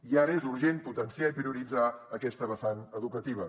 i ara és urgent potenciar i prioritzar aquesta vessant educativa